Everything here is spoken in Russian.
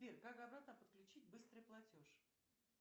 сбер как обратно подключить быстрый платеж